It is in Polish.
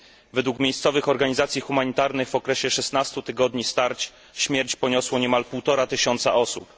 Według miejscowych organizacji humanitarnych w okresie 16 tygodni starć śmierć poniosło niemal półtora tysiąca osób.